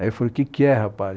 Aí eu falei, o que que é, rapaz?